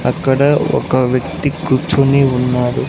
అక్కడ ఒక వ్యక్తి కూర్చొని ఉన్నాడు.